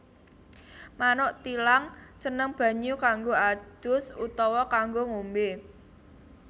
Manuk thilang seneng banyu kanggo ados utawa kanggo ngombé